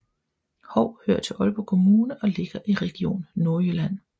Hou hører til Aalborg Kommune og ligger i Region Nordjylland